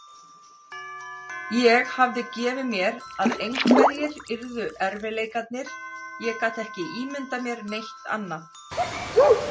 Ég hafði gefið mér að einhverjir yrðu erfiðleikarnir, ég gat ekki ímyndað mér neitt annað.